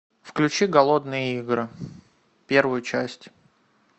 включи голодные игры первую часть